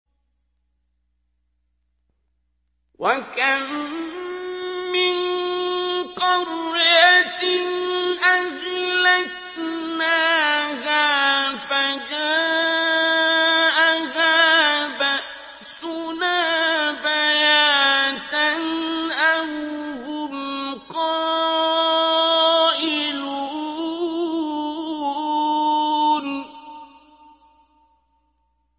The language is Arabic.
وَكَم مِّن قَرْيَةٍ أَهْلَكْنَاهَا فَجَاءَهَا بَأْسُنَا بَيَاتًا أَوْ هُمْ قَائِلُونَ